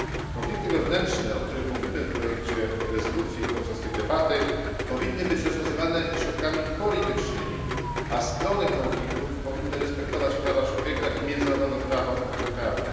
Konflikty wewnętrzne, o których mówimy w projekcie rezolucji i podczas tej debaty powinny być rozwiązywane środkami politycznymi, a strony konfliktów powinny respektować prawa człowieka i międzynarodowe prawo humanitarne.